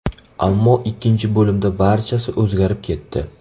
Ammo ikkinchi bo‘limda barchasi o‘zgarib ketdi.